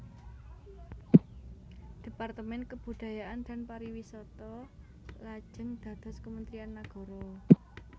Departemen Kebudayaan dan Pariwisata lajeng dados Kementerian Nagara